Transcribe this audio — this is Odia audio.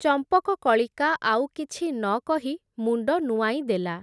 ଚମ୍ପକକଳିକା ଆଉ କିଛି ନକହି ମୁଣ୍ଡ ନୂଆଁଇଦେଲା ।